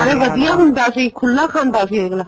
ਨਾਲੇ ਵਧੀਆ ਹੁੰਦਾ ਸੀ ਖੁਲਾ ਖਾਂਦਾ ਸੀ ਅੱਗਲਾ